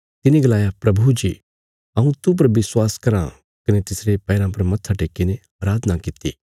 तिने गलाया प्रभु जी हऊँ तूह पर विश्वास कराँ कने तिसरे पैराँ पर मत्था टेक्कीने अराधना कित्ती